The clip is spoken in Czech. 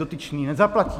Dotyčný nezaplatí.